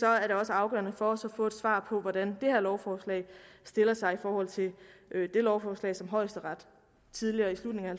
er det også afgørende for os at få et svar på hvordan det her lovforslag stiller sig i forhold til det lovforslag som højesteret tidligere i slutningen af